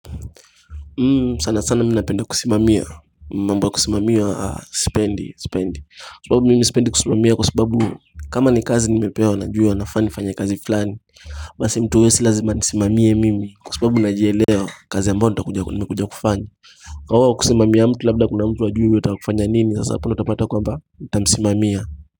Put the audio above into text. Sana sana mimi napenda kusimamia mambo ya kusimamiwa sipendi sipendi kwa sababu mimi sipendi kusimamiwa kwa sababu kama ni kazi nimepewa najua nafaa nifanye kazi fulani basi mtu si la zima anisimamie mimi kwa sababu najielewa kazi ambayo nimekuja kufanya kwa wao kusimamia mtu labda kuna mtu hajui anataka kufanya nini sasa hapo ndio utapata kwamba watamsimamia.